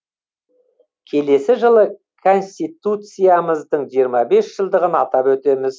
келесі жылы конституциямыздың жиырма бес жылдығын атап өтеміз